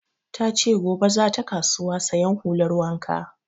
Ta ce gobe za ta kasuwa sayan hular wanka